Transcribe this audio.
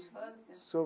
De infância?